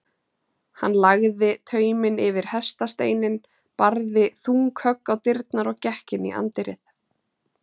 Hann lagði tauminn yfir hestasteininn, barði þung högg á dyrnar og gekk inn í anddyrið.